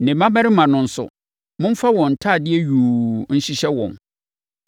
Ne mmammarima no nso, momfa wɔn ntadeɛ yuu no nhyehyɛ wɔn.